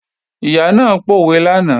Ìyá náà pòwe lánàá